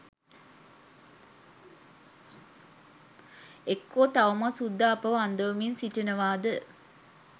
එක්කෝ තවමත් සුද්දා අපව අන්දවමින් සිටිනවාද?